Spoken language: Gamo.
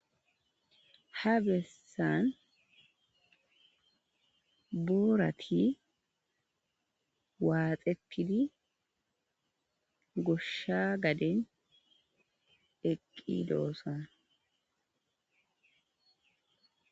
Ha bessan boorati waaxeppidi goshsha gaden eqqi doosan.